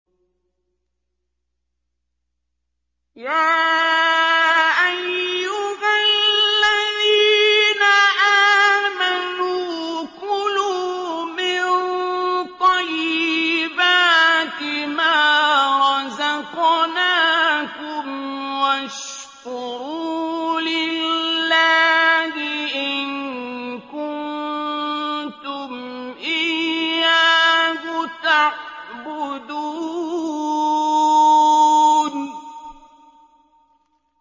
يَا أَيُّهَا الَّذِينَ آمَنُوا كُلُوا مِن طَيِّبَاتِ مَا رَزَقْنَاكُمْ وَاشْكُرُوا لِلَّهِ إِن كُنتُمْ إِيَّاهُ تَعْبُدُونَ